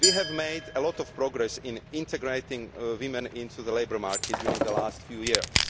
We have made a lot of progress in integrating women into the labour market during the last few years.